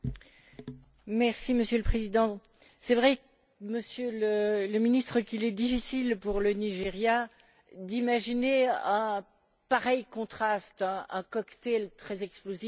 Monsieur le Président, c'est vrai, Monsieur le Ministre, qu'il est difficile pour le Nigeria d'imaginer un pareil contraste, un cocktail très explosif de tensions.